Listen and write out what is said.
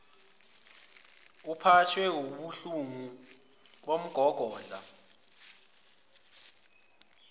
uphathwe wubuhlungu bomgogodla